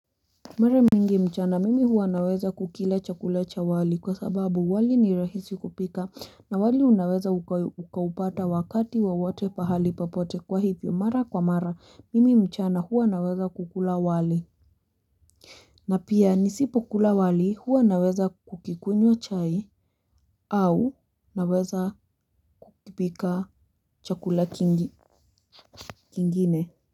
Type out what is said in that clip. Mara mingi mchana mimi huwa naweza kukila chakula cha wali kwa sababu wali ni rahisi kupika na wali unaweza ukaupata wakati wowote pahali popote kwa hivyo mara kwa mara mimi mchana huwa naweza kukula wali na pia nisipo kula wali huwa naweza kukikunywa chai au naweza kupika chakula kingine.